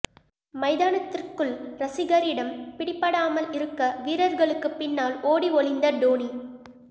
மைதானத்திற்குள் ரசிகரிடம் பிடிபடாமல் இருக்க வீரர்களுக்கு பின்னால் ஓடி ஒளிந்த டோனி